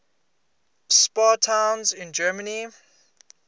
spa towns in germany